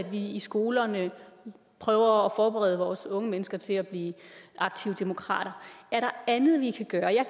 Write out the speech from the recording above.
vi i skolerne prøver at forberede vores unge mennesker til at blive aktive demokrater er der andet vi kan gøre jeg